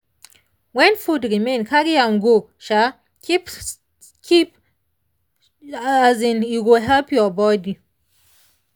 when food remain carry am go um keep keep um e go help your body.